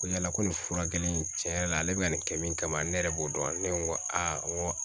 Ko yala ko nin furakɛli n tiɲɛ yɛrɛ la ale bɛ ka nin kɛ min kama ne yɛrɛ b'o dɔn ne ko a n ko